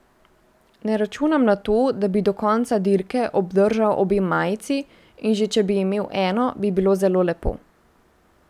Ne računam na to, da bi do konca dirke obdržal obe majici in že če bi imel eno, bi bilo zelo lepo.